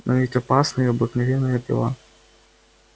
но ведь опасна и обыкновенная пила